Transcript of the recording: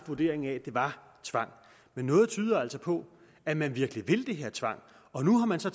vurdering at det var tvang noget tyder altså på at man virkelig vil den her tvang og nu har man så